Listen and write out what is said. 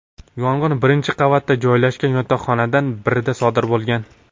Yong‘in birinchi qavatda joylashgan yotoqxonalardan birida sodir bo‘lgan.